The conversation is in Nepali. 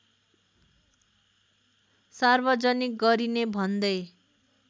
सार्वजनिक गरिने भन्दै